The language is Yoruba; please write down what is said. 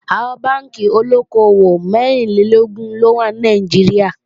Àwọn Bánkì olóko-òwò mẹ́rìnlélógún ló wà ní Nàìjíríà